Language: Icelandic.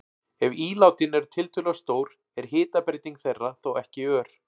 Ef ílátin eru tiltölulega stór er hitabreyting þeirra þó ekki ör.